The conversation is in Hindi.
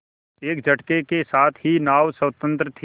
एक झटके के साथ ही नाव स्वतंत्र थी